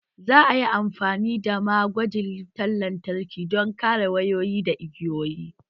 Za a yi amfani da ma gwajin wutar lantarki don kare wayoyi da igiyoyi